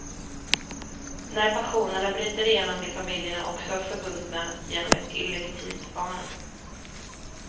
När passionerna bryter igenom blir familjerna också förbundna genom ett illegitimt barn.